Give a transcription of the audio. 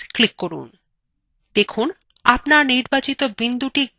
দেখুন আপনার নির্বাচিত বিন্দুthe গাঢ় নীল হয়ে গেছে